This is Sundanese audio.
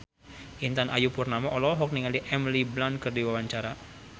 Intan Ayu Purnama olohok ningali Emily Blunt keur diwawancara